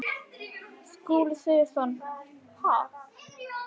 Skúli Sigurjónsson: Ha?